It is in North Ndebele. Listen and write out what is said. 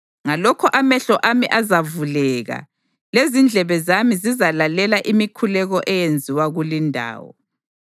Ngalokho amehlo ami azavuleka, lezindlebe zami zizalalela imikhuleko eyenziwa kulindawo.